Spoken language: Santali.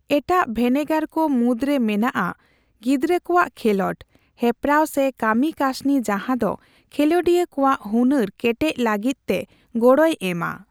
ᱮᱴᱟᱜ ᱵᱷᱮᱱᱮᱜᱟᱨ ᱠᱚ ᱢᱩᱫᱽᱨᱮ ᱢᱮᱱᱟᱜᱼᱟ ᱜᱤᱫᱽᱨᱟᱹ ᱠᱚᱣᱟᱜ ᱠᱷᱮᱞᱚᱸᱰ, ᱦᱮᱯᱨᱟᱣ ᱥᱮ ᱠᱟᱹᱢᱤᱠᱟᱹᱥᱱᱤ ᱡᱟᱦᱟᱸ ᱫᱚ ᱠᱷᱮᱞᱳᱰᱤᱭᱟᱹ ᱠᱚᱣᱟᱜ ᱦᱩᱱᱟᱹᱨ ᱠᱮᱴᱮᱡ ᱞᱟᱹᱜᱤᱫᱛᱮ ᱜᱚᱲᱚᱭ ᱮᱢᱟ ᱾